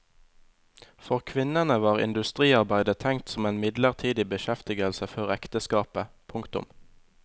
For kvinnene var industriarbeidet tenkt som en midlertidig beskjeftigelse før ekteskapet. punktum